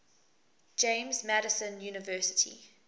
james madison university